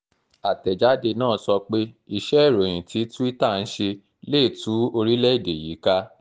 àtẹ̀jáde náà sọ pé iṣẹ́ ìròyìn tí tuita ń ṣe lè tú orílẹ̀-èdè yìí ká